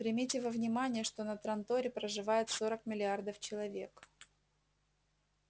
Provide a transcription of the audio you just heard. примите во внимание что на транторе проживает сорок миллиардов человек